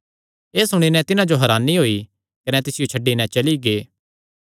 एह़ सुणी नैं तिन्हां जो हरानी होई कने तिसियो छड्डी नैं चली गै